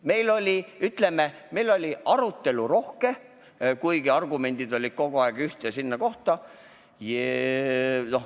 Meil oli rohke arutelu, kuigi argumendid olid kogu aeg suunatud ühte kohta.